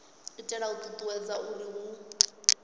itela u ṱuṱuwedza uri hu